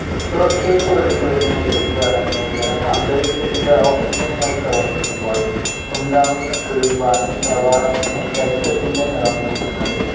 പുറത്തേക്ക് ഒഴുകിവരുന്ന ഇരുമ്പ് അടങ്ങിയ ജലം അന്തരീക്ഷത്തിലെ ഓക്സിജനുമായി പ്രവർത്തിക്കുമ്പോൾ ഉണ്ടാവുന്ന തുരുമ്പാണ് ഈ പ്രവാഹത്തിന് രക്തത്തിന്റെ നിറം നൽകുന്നത്.